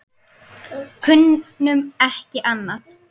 Kunnum ekki annað.